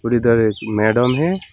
और इधर एक मैडम है।